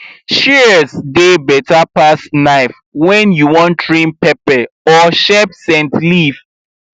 shears dey better pass knife when you wan trim pepper or shape scent leaf